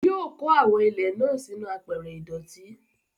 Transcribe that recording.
Yóò kó àwọn ilẹ̀ náà sínú àpẹrẹ ìdọ̀tí.